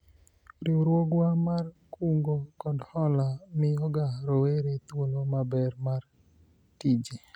riwruogwa mar kungo kod hola miyoga rowere thuolo maber mar tije